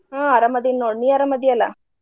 ಹ್ಮ್ ಅರಾಮದಿನ್ ನೋಡ್ ನೀ ಅರಾಮದಿ ಅಲ್ಲಾ?